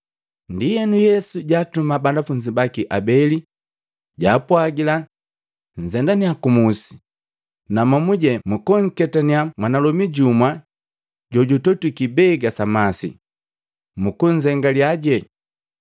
Ndienu Yesu jaatuma banafunzi baki habeli jaapwagila, “Nzendanya kumusi, na momuje mwanketanya mwanalomi jumu jojutotwi kibega sa masi. Mukunzengalyaje,